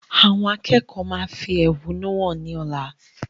Àwọn akẹ́kọ̀ọ́ máa fi ẹhónú hàn ni ọ̀la.